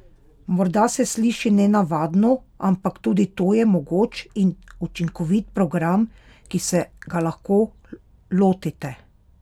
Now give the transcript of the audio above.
Morda se sliši nenavadno, ampak tudi to je mogoč in učinkovit program, ki se ga lahko lotite!